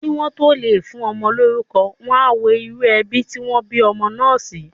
Kí wọ́n tó lè fún ọmọ lórúkọ, wọ́n á wo irú ẹbí tí wọ́n bí ọmọ náà sí.